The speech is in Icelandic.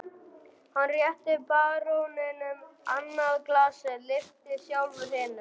Hann rétti baróninum annað glasið, lyfti sjálfur hinu.